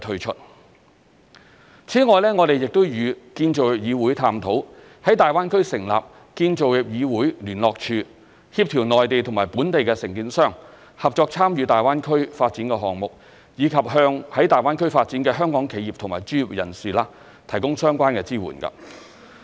此外，我們亦與建造業議會探討，在大灣區成立建造業議會聯絡處，協調內地與本地承建商合作參與大灣區發展項目，以及向在大灣區發展的香港企業和專業人士提供相關的支援。